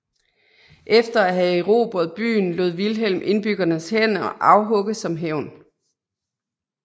Efter at have erobret byen lod Vilhelm indbyggernes hænder afhugge som hævn